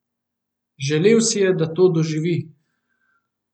Želel si je, da to doživi!